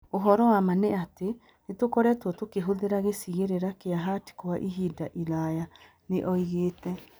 Ũhoro wa ma nĩ atĩ, nĩ tũkoretwo tũkĩhũthĩra gĩcigĩrĩra kĩa Hart kwa ihinda iraya"., nĩ oĩgĩte.